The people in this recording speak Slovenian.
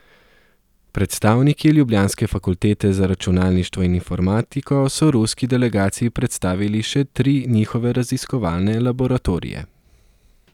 Predstavniki ljubljanske fakultete za računalništvo in informatiko so ruski delegaciji predstavili še tri njihove raziskovalne laboratorije.